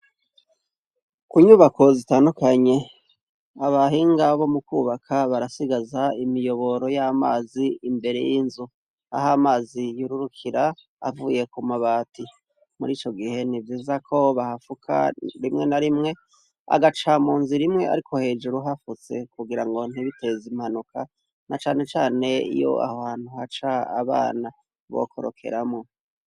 Ku nyubako zitandukanye, abahinga bo mu kubaka barasigaza imiyoboro y'amazi imbere y'inzu aho amazi yururukira avuye ku mabati, muri ico gihe ni vyiza ko bahafuka rimwe na rimwe agaca mu nzira imwe ariko hejuru hafutse kugira ngo ntibiteze impanuka na canecane iyo aho hantu haca abana, bokorokeramwo.